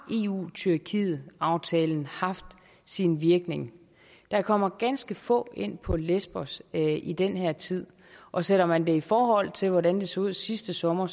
eu tyrkiet aftalen haft sin virkning der kommer ganske få ind på lesbos i den her tid og sætter man det i forhold til hvordan det så ud sidste sommer